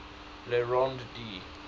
le rond d